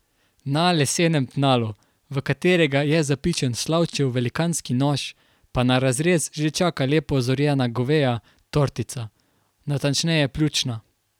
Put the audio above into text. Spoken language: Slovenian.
Na lesenem tnalu, v katerega je zapičen Slavčev velikanski nož, pa na razrez že čaka lepo zorjena goveja tortica, natančneje pljučna.